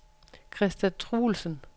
Christa Truelsen